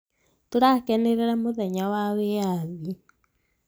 tũrakenerera mũthenya wa wĩyathi